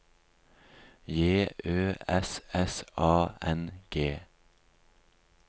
J Ø S S A N G